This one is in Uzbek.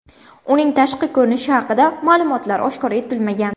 Uning tashqi ko‘rinishi haqida ma’lumotlar oshkor etilmagan.